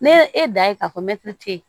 Ne ye e da ye k'a fɔ mɛtiri te